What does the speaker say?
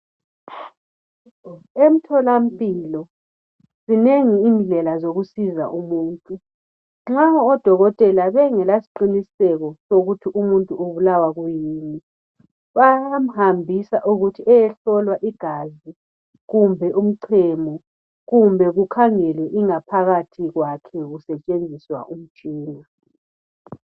Emtholampilo zinengi indlela zokusiza umuntu. Nxa odokotela bengalasiqiniseko sokuthi umuntu ubulawa yikuyini. Bayamhlola igazi, kumbe umchemo. Kumbe kukhangelwe ingaphakathi kwakhe kusetshenziswa imitshina.